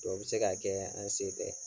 O be se ka kɛɛ an' se tɛ.